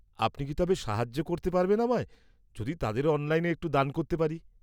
-আপনি কি তবে সাহায্য করতে পারবেন আমায়, যদি তাদেরও অনলাইনে একটু দান করতে পারি?